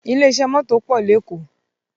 Ilé iṣẹ́ mọ́tò pọ̀ lékòó